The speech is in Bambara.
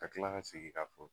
Ka kila ka segi k'a fɔ